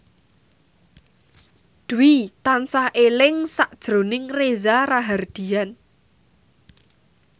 Dwi tansah eling sakjroning Reza Rahardian